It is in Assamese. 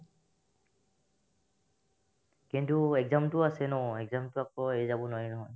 কিন্তু exam তো আছে নই exam তো এৰি যাব নোৱাৰি নহয়